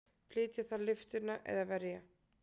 Flytja þarf lyftuna eða verja.